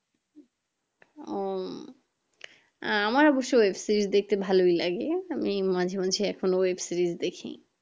উম আমার অবশ্য web series দেখতে ভালোই লাগে আমি মাঝে মাঝে এখনো web series দেখি